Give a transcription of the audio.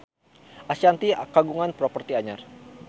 Ashanti kagungan properti anyar